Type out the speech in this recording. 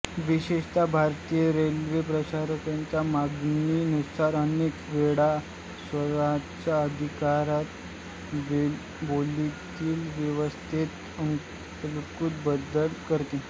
विशेषता भारतीय रेल्वे प्रवाश्यांच्या मागणी नुसार अनेक वेळा स्वतहाच्या अधिकारात बोगीतिल व्यवस्थेत अनुकूल बदल करते